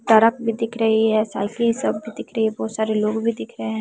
सड़क भी दिख रही है साइकिल सब दिख रही है बहुत सारी लोग भी दिख रहे हैं।